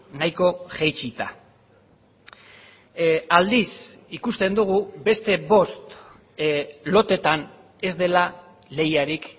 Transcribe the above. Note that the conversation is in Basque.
nahiko jaitsita aldiz ikusten dugu beste bost loteetan ez dela lehiarik